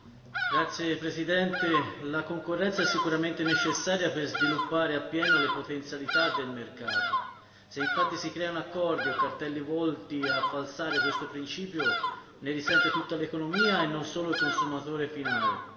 Signor Presidente, onorevoli colleghi, la concorrenza sicuramente è necessaria per sviluppare appieno le potenzialità del mercato se infatti si creano accordi o cartelli volti a falsare questo principio ne risente tutta l'economia e non solo il consumatore finale.